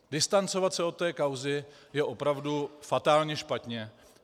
Distancovat se od této kauzy je opravdu fatálně špatně.